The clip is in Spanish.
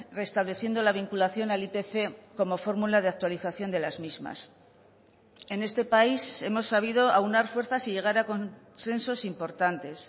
restableciendo la vinculación al ipc como fórmula de actualización de las mismas en este país hemos sabido aunar fuerzas y llegar a consensos importantes